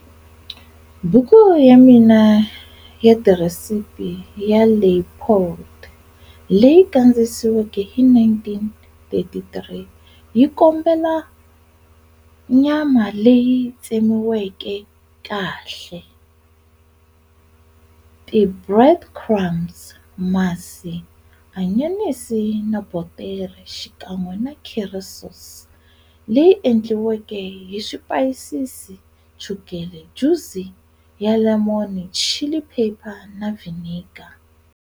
Buku ya ti recipe ya Leipoldt leyi kandziyisiweke hi 1933 yi kombela nyama leyi tsemiweke kahle, ti breadcrumbs, masi, anyanisi na botere xikan'we na curry sauce leyi endliweke hi swipayisisi, chukele, juzi ya lemon, chilli pepper na vinegar.